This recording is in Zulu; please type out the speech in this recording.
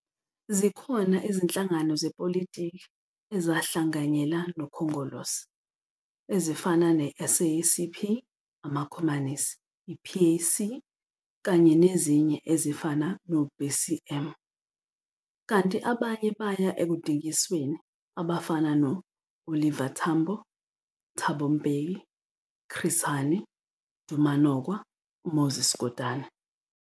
Zikhona izinhlangano zepolitiki ezahlanganyela nokhongolose ezifana ne-SACP, amakomanisi, i-PAC kanye nezinye ezifana no-BCM. Kanti abanye baya ekudingisweni abafana no-Oliver Tambo, Thabo Mbeki, Chris Hani, Duma Nokwe, Moses Kotane.